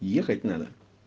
ехать надо